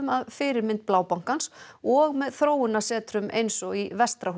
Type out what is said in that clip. að fyrirmynd og með eins og í